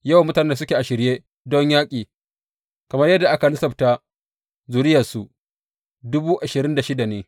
Yawan mutanen da suke a shirye don yaƙi, kamar yadda aka lissafta zuriyarsu, ne.